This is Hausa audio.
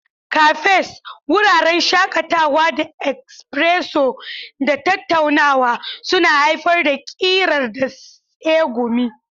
Cafes, wuraren shakatawa na espresso da tattaunawa, suna haifar da ƙirƙira da tsegumi.